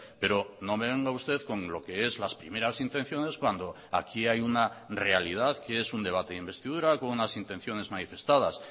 pero no me venga usted con lo que es las primeras intenciones cuando aquí hay una realidad que es un debate de investidura con unas intenciones manifestadas